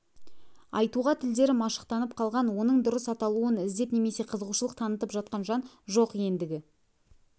айтуға тілдері машықтанып қалған оның дұрыс аталауын іздеп немесе қызығушылық танытып жатқан жан жоқ ендігі